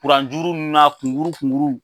juru nunnu na kun kuru kun kuru